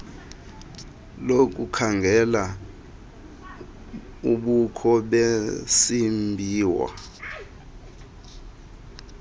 lokukhangela ubukho besimbiwa